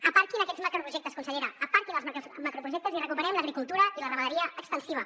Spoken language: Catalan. aparquin aquests macroprojectes consellera aparquin els macroprojectes i recuperem l’agricultura i la ramaderia extensiva